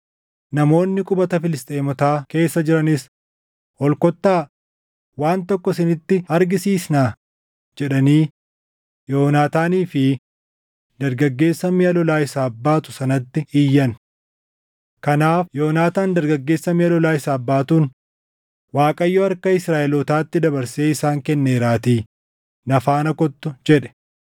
Namoonni qubata Filisxeemotaa keessa jiranis, “Ol kottaa; waan tokko isinitti argisiisnaa!” jedhanii Yoonaataanii fi dargaggeessa miʼa lolaa isaaf baatu sanatti iyyan. Kanaaf Yoonaataan dargaggeessa miʼa lolaa isaaf baatuun, “ Waaqayyo harka Israaʼelootaatti dabarsee isaan kenneeraatii na faana kottu” jedhe.